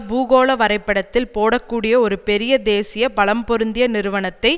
பூகோள வரைபடத்தில் போடக்கூடிய ஒரு பெரிய தேசிய பலம்பொருந்திய நிறுவனத்தை